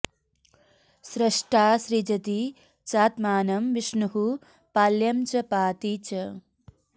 स्रष्टा सृजति चात्मानं विष्णुः पाल्यं च पाति च